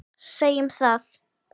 Segjum það.